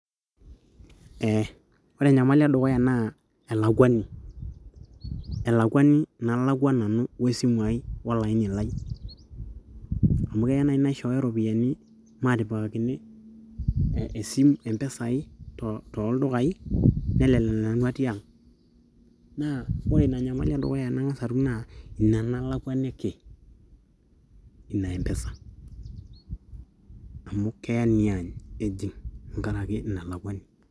Ore enyamali edukuya naa elakuani, elakuani nalakua nanu we simu ai, olaini lai, amu keya naaji naishooyo iropiyiani, maatipikakini empesa ai, tooldukai nelelek nanu atii ang, ore ina nyamali edukuya nang'as atum naa ina nalakuaniki ina empesa amu keya niany ejig' tenkaraki ina lakuani.